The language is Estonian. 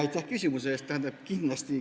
Aitäh küsimuse eest!